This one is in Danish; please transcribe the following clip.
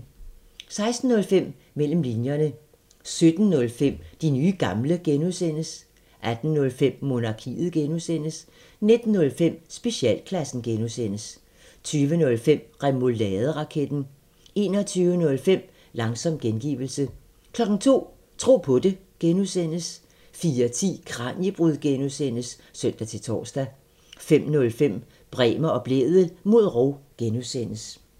16:05: Mellem linjerne 17:05: De nye gamle (G) 18:05: Monarkiet (G) 19:05: Specialklassen (G) 20:05: Remouladeraketten 21:05: Langsom gengivelse 02:00: Tro på det (G) 04:10: Kraniebrud (G) (søn-tor) 05:05: Bremer og Blædel mod rov (G)